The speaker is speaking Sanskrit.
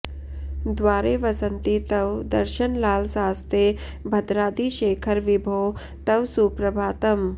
द्वारे वसन्ति तव दर्शनलालसास्ते भद्राद्रिशेखर विभो तव सुप्रभातम्